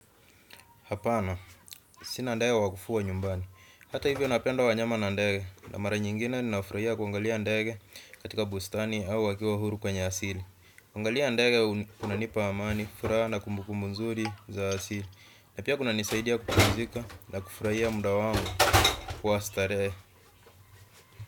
Hapana, sina ndaya wa kufua nyumbani. Hata hivyo napenda wanyama na ndege, na mara nyingine ninafurahia kuangalia ndege katika bustani au wakiwa huru kwenye asili. Kuangalia ndege kunanipa amani, furaha na kumbukumbu nzuri za asili. Na pia kuna nisaidia kupumzika na kufurahia muda wangu wa starehe.